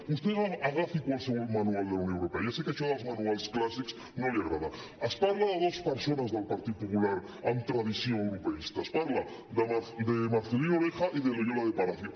vostè agafi qualsevol manual de la unió europea ja sé que això dels manuals clàssics no li agrada es parla de dos persones del partit popular amb tradició europeista es parla de marcelino oreja y de loyola de palacio